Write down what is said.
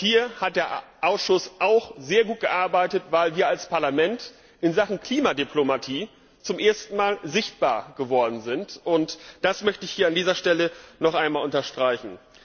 Hier hat der Ausschuss auch sehr gut gearbeitet, weil wir als Parlament in Sachen Klimadiplomatie zum ersten Mal sichtbar geworden sind, und das möchte ich hier an dieser Stelle noch einmal unterstreichen.